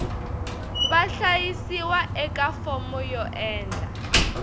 vahlayisiwa eka fomo yo endla